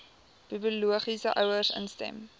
biologiese ouers instem